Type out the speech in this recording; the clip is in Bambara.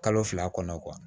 Kalo fila kɔnɔ